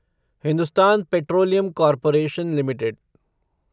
Hindustan petroleum corporation limited